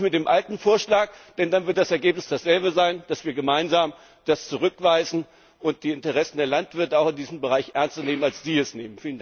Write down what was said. Und kommen Sie nicht mit dem alten Vorschlag, denn dann wird das Ergebnis dasselbe sein, nämlich dass wir das gemeinsam zurückweisen und die Interessen der Landwirte auch in diesem Bereich ernster nehmen, als Sie es tun!